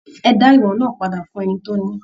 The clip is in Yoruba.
E da ìwọ̀n náà padà fún ẹni tó ní!